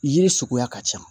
Ye suguya ka ca